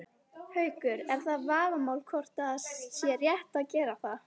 Haukur: Er það vafamál hvort að það sé rétt að gera það?